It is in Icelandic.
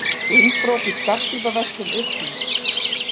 Innbrot í skartgripaverslun upplýst